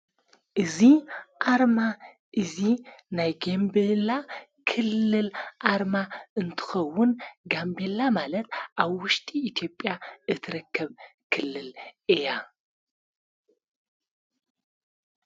እዙ ኣርማ እዙይ ናይ ጌንበላ ክልል ኣርማ እንትኸውን ጋንበላ ማለት ኣብ ውሽጢ ኢቲጵያ እትረከብ ክልል እያ።